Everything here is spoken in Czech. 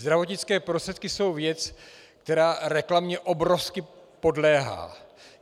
Zdravotnické prostředky jsou věc, která reklamě obrovsky podléhá.